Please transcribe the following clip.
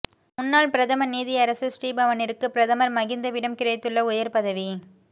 முன்னாள் பிரதம நீதியரசர் ஸ்ரீபவனிற்கு பிரதமர் மகிந்தவிடம் கிடைத்துள்ள உயர் பதவி